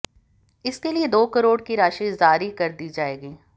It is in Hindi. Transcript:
इसके लिए दो करोड़ की राशि जारी कर दी जाएगी